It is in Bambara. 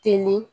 Teli